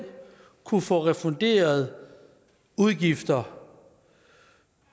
kunne få refunderet udgifter